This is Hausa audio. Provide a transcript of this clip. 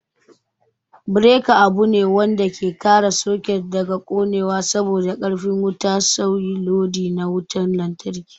Bereka abune wanda ke kare saket daga konewa saboda karfi wuta nauyi lodi na wutan lantraki